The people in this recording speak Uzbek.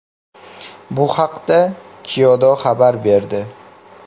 Bu haqda Kyodo xabar berdi .